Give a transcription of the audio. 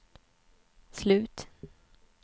slut